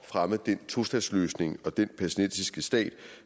fremme den tostatsløsning og den palæstinensiske stat